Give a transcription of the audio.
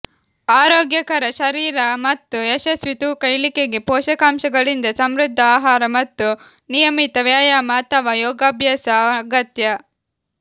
ಆರೋಗ್ಯಕರ ಶರೀರ ಮತ್ತು ಯಶಸ್ವಿ ತೂಕ ಇಳಿಕೆಗೆ ಪೋಷಕಾಂಶಗಳಿಂದ ಸಮೃದ್ಧ ಆಹಾರ ಮತ್ತು ನಿಯಮಿತ ವ್ಯಾಯಾಮ ಅಥವಾ ಯೋಗಾಭ್ಯಾಸ ಅಗತ್ಯ